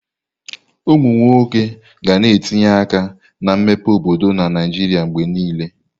Ụmụ nwoke ga na-etinye aka na mmepe obodo na Naijiria mgbe niile.